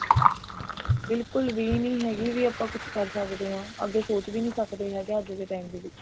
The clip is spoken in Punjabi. ਬਿਲਕੁਲ ਵੀ ਨੀ ਹੈਗੀ ਵੀ ਆਪਾਂ ਕੁੱਝ ਕਰ ਸਕਦੇ ਹਾਂ ਅੱਗੇ ਸੋਚ ਵੀ ਸਕਦੇ ਅੱਜ ਦੇ time ਦੇ ਵਿੱਚ